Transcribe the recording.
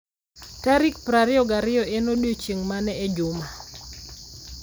tarik 22 en odiechieng ' mane e juma?